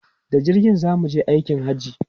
Da jirgi za mu je aikin Hajji.